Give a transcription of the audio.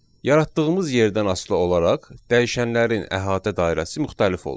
Yaratdığımız yerdən asılı olaraq dəyişənlərin əhatə dairəsi müxtəlif olur.